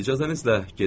İcazənizlə gedirəm.